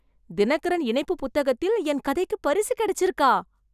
தினகரன் இணைப்புப் புத்தகத்தில என் கதைக்குப் பரிசு கிடைச்சுருக்கா?